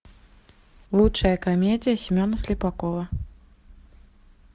лучшая комедия семена слепакова